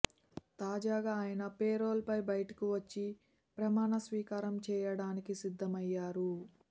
తాజాగా ఆయన పెరోల్ పై బయటకు వచ్చి ప్రమాణ స్వీకారం చేయడానికి సిద్ధమయ్యారు